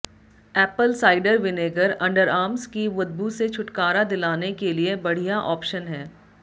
Apple cider vinegar underarms की बदबू से छुटकारा दिलाने के लिए बढ़िया ऑप्शन है